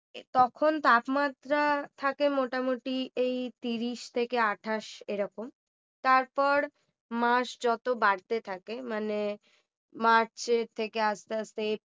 তখন তাপমাত্রা থাকে মোটামুটি এই তিরিশ থেকে আটাশ এরকম তারপর মাস যত বাড়তে থাকে মানে মার্চের থেকে আসতে আসতে